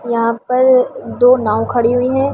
यहां पर दो नाव खड़ी हुई है।